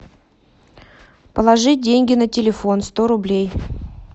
положить деньги на телефон сто рублей